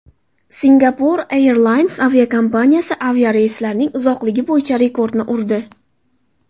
Singapore Airlines aviakompaniyasi aviareyslarning uzoqligi bo‘yicha rekordni urdi.